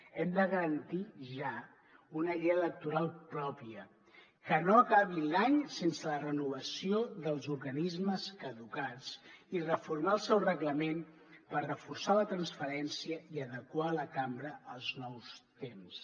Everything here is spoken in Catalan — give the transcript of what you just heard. hem de garantir ja una llei electoral pròpia que no acabi l’any sense la renovació dels organismes caducats i reformar el seu reglament per reforçar la transparència i adequar la cambra als nous temps